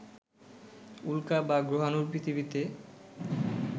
উল্কা বা গ্রহাণুর পৃথিবীতে